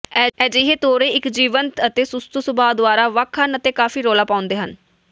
ਅਜਿਹੇ ਤੋਰੇ ਇੱਕ ਜੀਵੰਤ ਅਤੇ ਸੁਸਤੂ ਸੁਭਾਅ ਦੁਆਰਾ ਵੱਖ ਹਨ ਅਤੇ ਕਾਫੀ ਰੌਲਾ ਪਾਉਂਦੇ ਹਨ